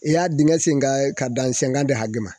I y'a dingɛ sen ka ka dan hakɛ ma